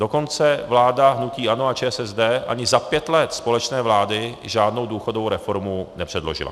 Dokonce vláda hnutí ANO a ČSSD ani za pět let společné vlády žádnou důchodovou reformu nepředložila.